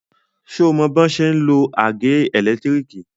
Ṣé o mọ bọ́n ṣe ń lo àgé ẹ̀lẹ́tírìkì?